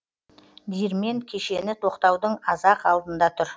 диірмен кешені тоқтаудың аз ақ алдында тұр